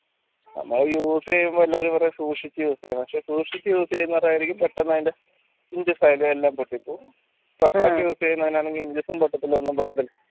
നമ്മുടെ use ചെയ്യുമ്പോ എല്ലാരും പറയും സൂക്ഷിച്ച use ചെയ്യണം പക്ഷേ സൂക്ഷിച്ച use ചെയ്യുന്നവർ ആയിരിക്കും പെട്ടെന്ന് അതിൻറെ file എല്ലാം പൊട്ടിപ്പോകും rough ആയിട്ട് ചെയ്യുന്നവനാണെങ്കിലോ പൊട്ടത്തല്ല ഒന്നും പൊട്ടത്തില്ല